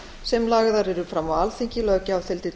sem lagðar yrðu fram á alþingi löggjafarþingi